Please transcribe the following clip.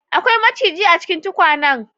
Akwai majigi a cikin tukwanan